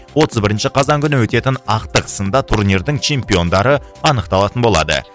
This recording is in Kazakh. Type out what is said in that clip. отыз бірінші қазан күні өтетін ақтық сында турнирдің чемпиондары анықталатын болады